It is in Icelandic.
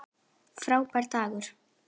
Frábær dagur.